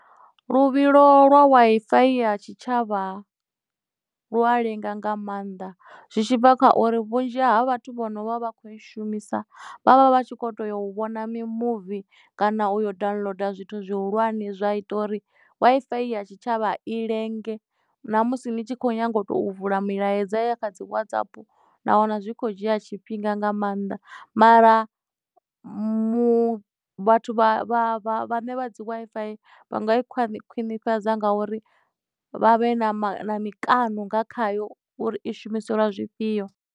Luvhilo lwa Wi-Fi ya tshitshavha lua lenga nga maanḓa zwi tshi bva kha uri vhunzhi ha vhathu vhono vha vha kho i shumisa vhavha vha tshi kho to ya u vhona mimuvi kana u yo downloader zwithu zwihulwane zwa ita uri Wi-Fi ya tshitshavha i lenge na musi ni tshi khou nyanga u to vula milaedza ya kha dzi watsap na wana zwi kho dzhia tshifhinga nga maanḓa mara mu vhathu vhaṋe vha dzi Wi-Fi vha nga khwiṋifhadza nga uri vha vhe na mikano nga khayo uri i shumiselwa zwifhio.